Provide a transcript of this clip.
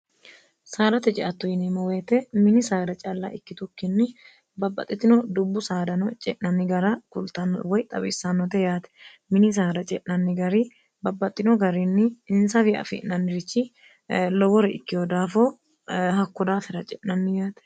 saalate jeattu yinimoweete mini saara calla ikkitukkinni babbaxxitino dubbu saadano ce'nanni gara kultanno woy xapissannote yaate mini saara ce'nanni gari babbaxxino garinni insafi afi'nannirichi lowori ikkiho daafo hakko daafira ce'nanni yaate